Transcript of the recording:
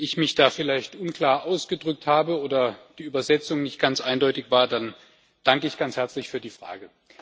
Wenn ich mich da vielleicht unklar ausgedrückt habe oder die Übersetzung nicht ganz eindeutig war, dann danke ich ganz herzlich für die Frage.